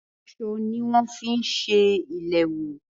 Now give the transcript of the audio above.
Aṣọ ní wọn fi ń ṣe ìléwọ́.